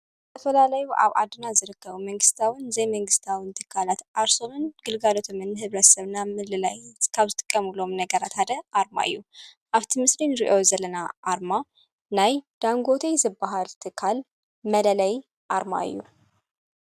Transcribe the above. ተፈላለይኣብ ኣድና ዝርከቡ መንግሥታውን ዘይመንግሥታውን ትካላት ኣርሶንን ግልጋሎቶምን ሕብረሰብ ናብ ምልላይ ዝካብ ዝጥቀሙሎም ነገራታደ ኣርማ እዩ ኣብቲ ምስርን ርእዮ ዘለና ኣርማ ናይ ዳንጎተይ ዝበሃል ቲካል መለለይ ኣርማ እዩ።